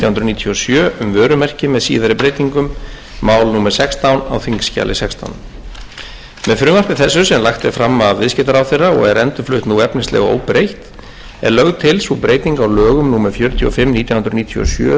níutíu og sjö um vörumerki með síðari breytingum mál númer sextán á þingskjali sextán með frumvarpi þessu sem lagt er fram af viðskiptaráðherra og er endurflutt nú efnislega óbreytt er lögð til sú breyting á lögum númer fjörutíu og fimm nítján hundruð níutíu og sjö um